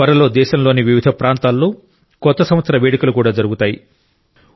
త్వరలో దేశంలోని వివిధ ప్రాంతాల్లో కొత్త సంవత్సర వేడుకలు కూడా జరుగుతాయి